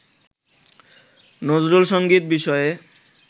নজরুলসংগীত বিষয়ে